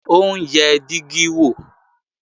Ó ń yẹ dígí wò